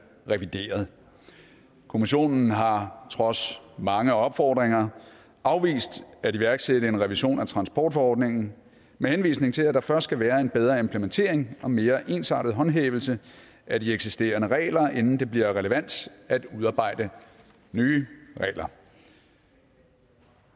revideret kommissionen har trods mange opfordringer afvist at iværksætte en revision af transportforordningen med henvisning til at der først skal være en bedre implementering og mere ensartet håndhævelse af de eksisterende regler inden det bliver relevant at udarbejde nye regler